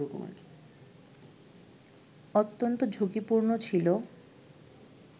অত্যন্ত ঝুঁকিপূর্ণ ছিল